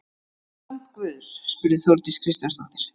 En lamb guðs? spurði Þórdís Kristjánsdóttir.